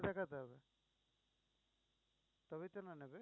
দেখাতে হবে তবেই তো না নেবে।